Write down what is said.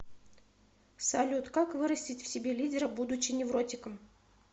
салют как вырастить в себе лидера будучи невротиком